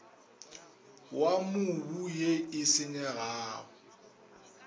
wa mobu ye e senyago